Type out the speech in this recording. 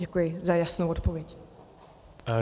Děkuji za jasnou odpověď.